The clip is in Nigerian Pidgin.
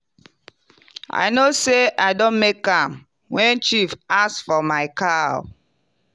i know say i don make am when chief ask for my cow.